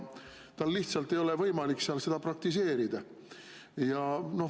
Tal lihtsalt ei ole võimalik seal praktiseerida.